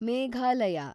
Meghalaya